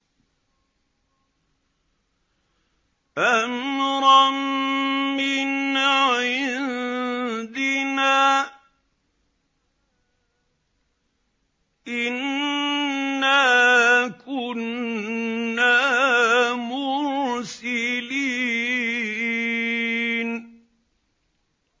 أَمْرًا مِّنْ عِندِنَا ۚ إِنَّا كُنَّا مُرْسِلِينَ